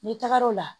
N'i tagara o la